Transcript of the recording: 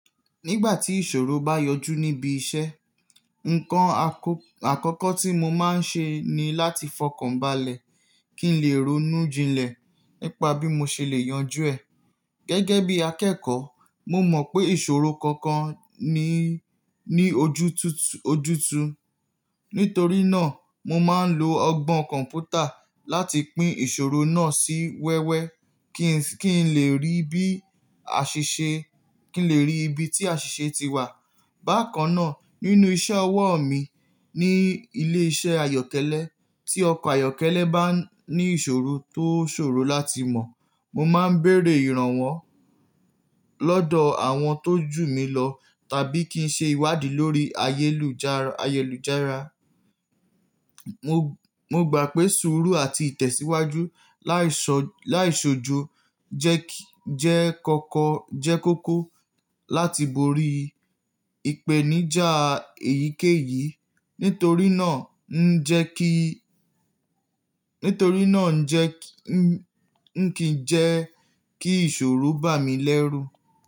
Nígbà tí ìṣòro bá yọjú níbi iṣẹ́, ǹkan àkọ́kọ́ tí mo máa ń ṣe ni láti fọkànbalẹ̀ kí n lè ronú jinlẹ̀ nípa bí mo ṣe lè yanjú ẹ. Gẹ́gẹ́ bí akẹ́kọ̀ọ́, mo mọ̀ pé ìṣòro kankan ni ní ojútùútù. Nítorí náà, mo máa ń lo ọgbọ́n kọ̀ǹpútà láti pín ìṣòro náà sí wẹ́wẹ́ kí n lè rí ibi tí àṣìṣe ti wà. Bákan náà, nínú iṣẹ́ ọwọ́ mi ní ilé-iṣẹ́ ayọ́kẹ́lẹ́, tí ọkọ̀ ayọ́kẹ́lẹ́ bá ní ìṣòro tó ṣòro láti mọ̀, mo máa ń béèrè ìrànwọ́ lọ́dọ̀ àwọn tó jù mí lọ tàbí kí n ṣe ìwádìí lórí ayélujára. Mo gbà pé sùúrù àti ìtẹ̀síwájú láìṣòjo jẹ́ kókó láti borí ìpèníjà èyíkéyìí, nitori naa. Nítorí náà ń kí jẹ kí ìṣòro bà mí lẹ́rù.